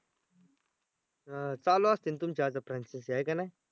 हां चालू असतीन तुमच्या आता franchise आहे की नाही?